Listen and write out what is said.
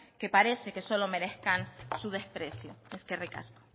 que parece que solo merezcan su desprecio eskerrik asko